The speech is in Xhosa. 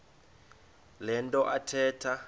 le nto athetha